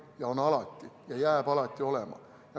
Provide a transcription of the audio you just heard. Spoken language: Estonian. Neid on alati ja jääb alati olema.